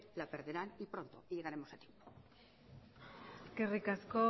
la perderán y pronto y llegaremos aquí eskerrik asko